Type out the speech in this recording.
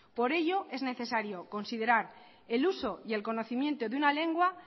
por ello es necesario considerar el uso y el conocimiento de una lengua